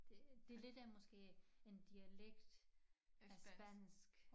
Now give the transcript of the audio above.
Det det lidt af måske en dialekt af spansk